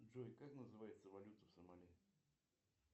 джой как называется валюта в сомали